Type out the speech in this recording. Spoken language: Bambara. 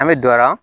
An bɛ don a la